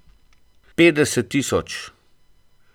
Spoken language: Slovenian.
Petdeset tisoč.